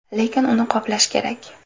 Lekin uni qoplash kerak.